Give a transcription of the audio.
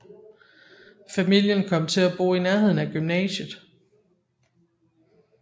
Familien kom til at bo i nærheden af gymnasiet